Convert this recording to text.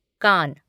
कान